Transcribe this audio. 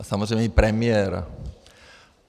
A samozřejmě i premiér.